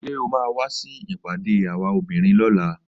Ṣé o máa wá sí ìpàdé àwa obìnrin lọ́la?